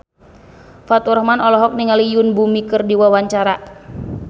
Faturrahman olohok ningali Yoon Bomi keur diwawancara